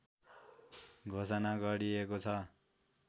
घोषणा गरिएको छ